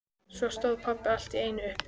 Svo stóð pabbi allt í einu upp.